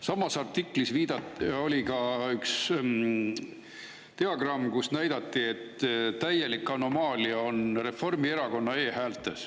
Samas artiklis oli ka üks diagramm, kus näidati, et täielik anomaalia on Reformierakonna e-häältes.